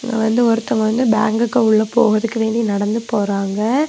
இங்க வந்து ஒருதங்க வந்து பேங்க் குள்ள போகறதுக்கு வேண்டி நடந்து போறாங்க.